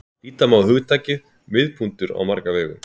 Líta má á hugtakið miðpunktur á marga vegu.